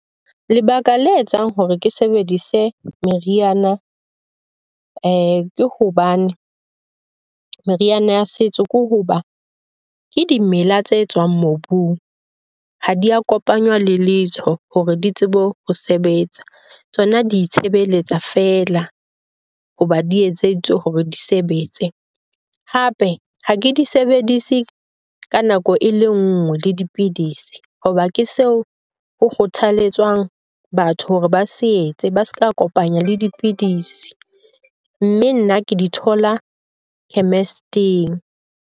Lebaka la etsang hore ke sebedise meriana ke hobane meriana ya setso ke hoba ke dimela tse tswang mobung, ha di a kopanywa le letho hore di tsebe ho sebetsa. Tsona di itshebeletsa fela hoba di etseditswe hore di sebetse. Hape ha ke di sebedise ka nako e le nngwe le dipidisi hoba ke seo ho kgothaletswang batho hore ba se etse, ba se ka kopanya le dipidisi. Mme nna ke di thola chemist-ing.